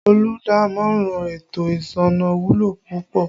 Olùdámọ̀ràn ètò ìsúná wúlò púpọ̀